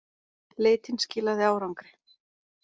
Leitin skilaði árangri.